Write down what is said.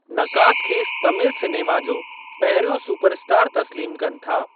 नक़ाद खेसि तामिल सिनेमा जो पहिरियों सुपर स्टार तस्लीमु कनि था।